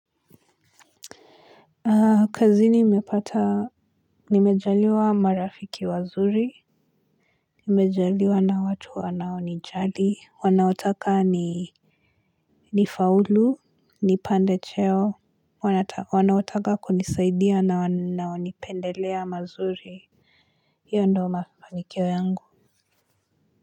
Kazi nimepata nimejaliwa marafiki wazuri nimejaliwa na watu wanaonijali wanaotaka ni nifaulu nipande cheo wanaotaka kunisaidia na wanaonipendelea mazuri hiyo ndio mafanikio yangu.